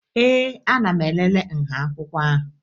Ee, ana m elele nha akwụkwọ ahụ